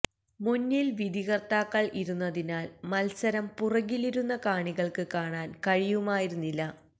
മുന്നിൽ വിധികർത്താക്കൾ ഇരുന്നതിനാൽ മത്സരം പുറകിലിരുന്ന കാണികൾക്ക് കാണാൻ കഴിയുമായിരുന്നില്ല